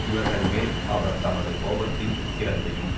இவர்கள் மேல் அவர் தமது கோபத்தின் உக்கிரத்தையும்